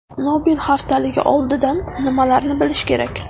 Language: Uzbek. Nobel haftaligi oldidan nimalarni bilish kerak?